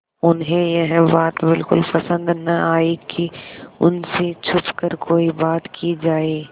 उन्हें यह बात बिल्कुल पसन्द न आई कि उन से छुपकर कोई बात की जाए